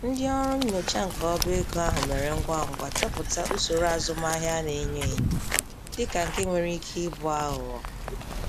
Ndị ọrụ nnyocha nke obego ahụ mere ngwa ngwa chọpụta usoro azụmahịa a na-enyo enyo dịka nke nwere ike ịbụ aghụghọ.